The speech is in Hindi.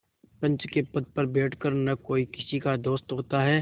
पंच के पद पर बैठ कर न कोई किसी का दोस्त होता है